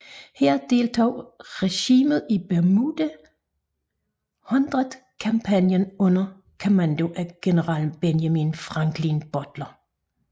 Her deltog regimentet i Bermuda Hundred kampagnen under kommando af Generalmajor Benjamin Franklin Butler